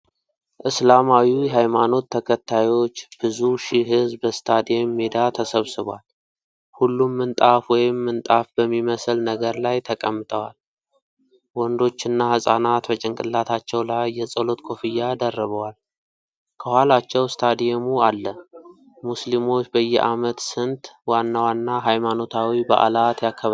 እስላማዊ ሃይማኖት ተከታዮች ብዙ ሺሕ ሕዝብ በስታዲየም ሜዳ ተሰብስቧል። ሁሉም ምንጣፍ ወይም ምንጣፍ በሚመስል ነገር ላይ ተቀምጠዋል። ወንዶችና ሕፃናት በጭንቅላታቸው ላይ የጸሎት ኮፍያ ደርበዋል። ከኋላቸው ስታዲየሙ አለ። ሙስሊሞች በዓመት ስንት ዋና ዋና ሃይማኖታዊ በዓላት ያከብራሉ?